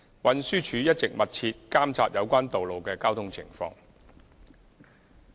運輸署一直密切監察有關道路的交通情況。